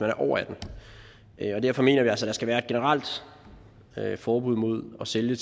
er over atten år og derfor mener vi altså at der skal være et generelt forbud mod at sælge